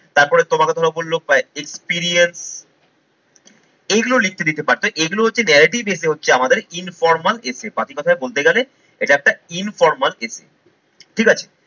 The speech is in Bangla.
তারপরে তোমাকে ধরো বলল experience এইগুলো লিখতে দিতে পারতে এইগুলো হচ্ছে narrative essay হচ্ছে আমাদের informal essay পাতি কথায় বলতে গেলে এটা একটা informal essay ঠিক আছে?